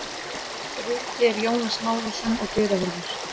Bryti er Jónas Lárusson og dyravörður